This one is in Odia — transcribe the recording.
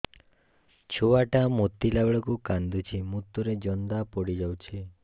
ଛୁଆ ଟା ମୁତିଲା ବେଳକୁ କାନ୍ଦୁଚି ମୁତ ରେ ଜନ୍ଦା ପଡ଼ି ଯାଉଛି